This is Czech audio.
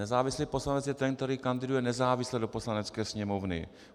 Nezávislý poslanec je ten, který kandiduje nezávisle do Poslanecké sněmovny.